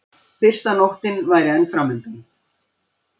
Fyrsta nóttin væri enn framundan.